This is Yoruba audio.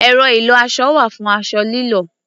Ẹ̀rọ ìlọ-aṣọ wà fún aṣọ lílọ̀.